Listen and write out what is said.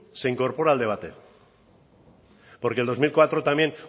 se incorpora al debate porque en dos mil cuatro también